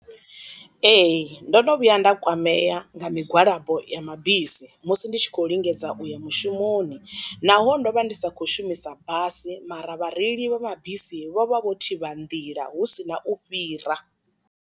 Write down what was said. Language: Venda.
Ee ndo no vhuya nda kwamea nga migwalabo ya mabisi, musi ndi tshi khou lingedza u ya mushumoni naho ndo vha ndi sa khou shumisa basi mara vhareili vha mabisi vho vha vho thivha nḓila hu sina u fhira.